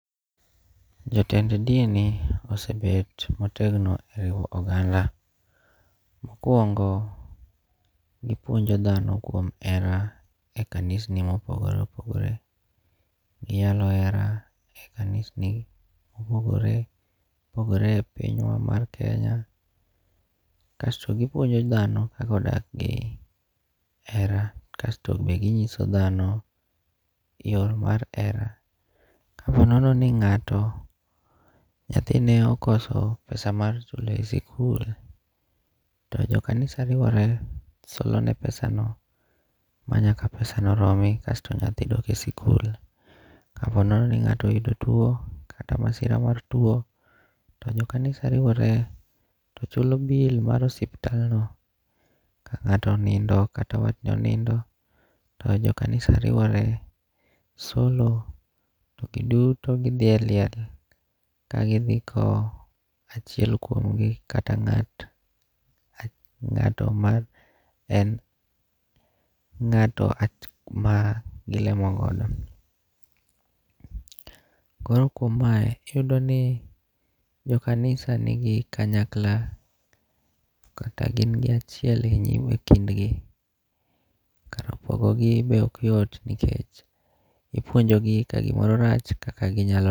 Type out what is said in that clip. Jotend dini osebet motegno e riwo oganda. Mokwongo, gipuonjo dhano kuom hera e kanisni mopogore opogore. Giyalo hera e kanisni mopogore opogore e pinywa mar Kenya. Kasto gipuonjo dhano kaka odak gi hera. Kasto be ginyiso dhano yo mar hera. Ka ponono ni ng'ato nyathine okoso pesa michulo e sikul to jokanisa riwore solo ne pesano manyaka pesano romi kasto nyathi dok e sikul. Ka po nono ni ng'ato oyudo tuo kata masira mar tuo to jo kanisa riwore to chulo bill mar osiptand no. Ka ng'ato onindo kata watne onindo to jo kanisa riwore, solo, to giduto gidhi e liel ka gidhi kow achiel kuom gi kata ng'ato man en ngato ma gilemo godo. Koro kuom mae, iyudo ni jokanisa nigi kanyakla kata gin gi achiel e nyim e kindgi. Kar pogo gi be ok yot nikech ipuonjo gi ka gimoro rach kaka ginyalo